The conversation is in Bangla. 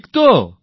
ঠিক তো